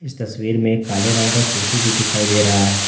तस्वीर में काले रंग का कुर्सी भी दिखाई दे रहा है।